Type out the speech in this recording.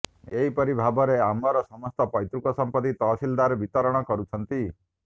ଏହିପରି ଭାବରେ ଆମର ସମସ୍ତ ପୈତୃକ ସମ୍ପତ୍ତି ତହସିଲଦାର ବିତରଣ କରୁଛନ୍ତି